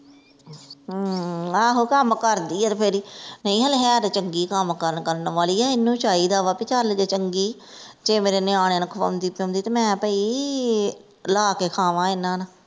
ਹਮ ਆਹੋ ਕੱਮ ਕਰਦੀ ਆ ਤੇ ਫੇਰ ਹੀ ਨਹੀਂ ਹਲੇ ਹੈ ਤੇ ਚੰਗੀ ਕੱਮ ਕਾਰ ਕਰਨ ਵਾਲੀ ਆ ਇਹਨੂੰ ਚਾਹੀਦਾ ਵਾ ਭੀ ਚਲ ਜੇ ਚੰਗੀ ਜੇ ਮੇਰੇ ਨਿਆਣਿਆਂ ਨੂੰ ਖਵਾਉਂਦੀ ਪਿਓਂਦੀ ਤੇ ਮੈਂ ਭਈ ਲਾਹ ਕੇ ਖਵਾਂਵਾਂ ਇਹਨਾਂ ਨਾ।